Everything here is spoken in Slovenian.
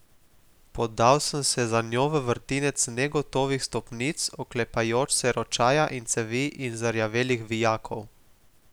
Podal sem se za njo v vrtinec negotovih stopnic, oklepajoč se ročaja iz cevi in zarjavelih vijakov.